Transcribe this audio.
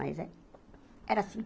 Mas é era assim.